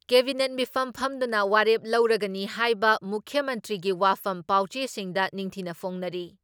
Cabinet ꯃꯤꯐꯝ ꯐꯝꯗꯨꯅ ꯋꯥꯔꯦꯞ ꯂꯧꯔꯒꯅꯤ ꯍꯥꯏꯕ ꯃꯨꯈ꯭ꯌ ꯃꯟꯇ꯭ꯔꯤꯒꯤ ꯋꯥꯐꯝ ꯄꯥꯎꯆꯦꯁꯤꯡꯗ ꯅꯤꯡꯊꯤꯅ ꯐꯣꯡꯅꯔꯤ ꯫